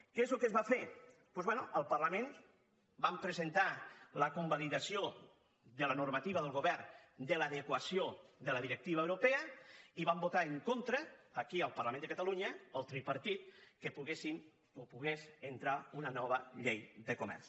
què és el que es va fer doncs bé al parlament vam presentar la convalidació de la normativa del govern de l’adequació de la directiva europea i van votar en contra aquí al parlament de catalunya el tripartit que poguessin o pogués entrar una nova llei de comerç